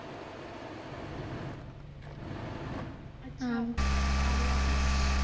ਅੱਛਾ ਆਲੀਆ ਆਪੀ